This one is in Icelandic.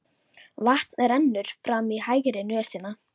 Vatn rennur fram í hægri nösina.